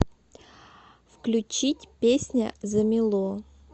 включить песня замело